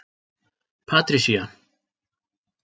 Patricia